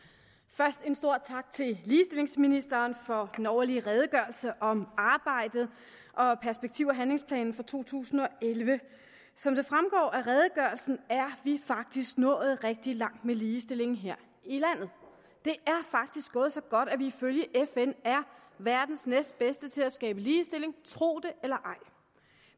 først en stor tak til ligestillingsministeren for den årlige redegørelse om arbejdet og perspektiv og handlingsplanen for to tusind og elleve som det fremgår af redegørelsen er vi faktisk nået rigtig langt med ligestillingen her i landet det er faktisk gået så godt at vi ifølge fn er verdens næstbedste til at skabe ligestilling tro det eller ej